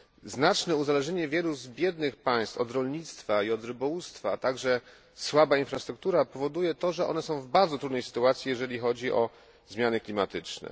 Znaczne uzależnienie wielu z biednych państw od rolnictwa i od rybołówstwa, a także słaba infrastruktura powoduje to, że one są w bardzo trudnej sytuacji jeżeli chodzi o zmiany klimatyczne.